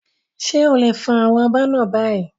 Ṣé o lè fọ àwọn abọ́ náà báyìí?